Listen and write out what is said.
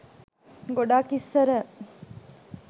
ගොඩක් ඉස්සර